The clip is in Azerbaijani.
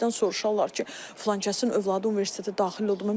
Birdən soruşarlar ki, filankəsin övladı universitetə daxil olmadı.